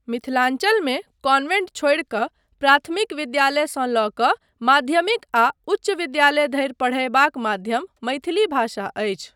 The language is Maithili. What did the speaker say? मिथिलाञ्चलमे कान्वेंट छोड़ि कऽ प्राथमिक विद्यालयसँ लऽ कऽ माध्यमिक आ उच्च विद्यालय धरि पढ़यबाक माध्यम मैथिली भाषा अछि।